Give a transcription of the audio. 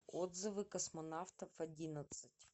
отзывы космонавтов одиннадцать